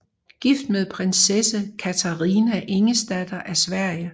Gift med prinsesse Katarina Ingesdatter af Sverige